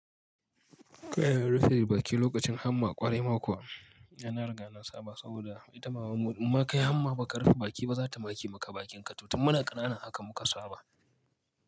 Kai yana rufe baki lokacin hamma ƙwarai ma kuwa, yana riga nan Saba saboda idan mama muka yi hamma ba ka rufe baki ba za ta make maka bakinka, tutin muna ƙanana haka muka saba.